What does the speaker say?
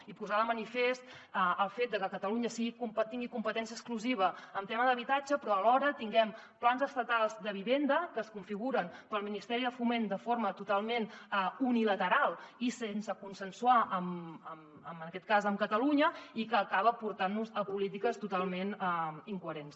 i posar de manifest el fet de que catalunya tingui competència exclusiva en tema d’habitatge però alhora tinguem plans estatals de vivenda que es configuren pel ministeri de foment de forma totalment unilateral i sense consensuar en aquest cas amb catalunya i que acaben portant nos a polítiques totalment incoherents